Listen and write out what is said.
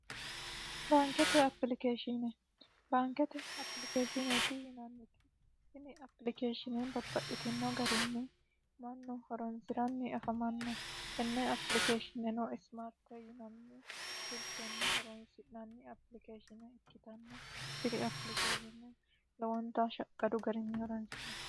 baankete apilikeeshine baankete apilikeeshineeti yinanniti tini apilikeeshshini bapaxxhitino garinni mannu horonsi'ranni afamanno tenne apilikeeshineno ismaarte yinanni silkenni horonsi'nanni apilikeeshine ikkitanna diri apilikeeshinne lowonta shaqqadu garinni horonsi'no